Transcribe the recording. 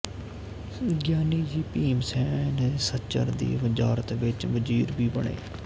ਗਿਆਨੀ ਜੀ ਭੀਮ ਸੈਨ ਸੱਚਰ ਦੀ ਵਜ਼ਾਰਤ ਵਿੱਚ ਵਜ਼ੀਰ ਵੀ ਬਣੇ